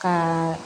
Ka